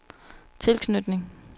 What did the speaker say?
tilknytning